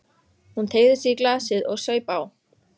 Hún teygði sig í glasið og saup á.